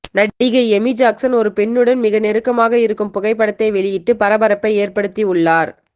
நடிகை Amy Jackson ஒரு பெண்ணுடன் மிக நெருக்கமாக இருக்கும் புகைப்படத்தை வெளியிட்டு பரபரப்பை ஏற்படுத்தி உள்ளார்